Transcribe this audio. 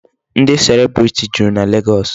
Ndị celebrity juru na Legọọsị.